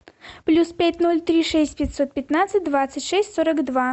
плюс пять ноль три шесть пятьсот пятнадцать двадцать шесть сорок два